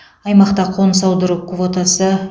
аймақта қоныс аудару квотасы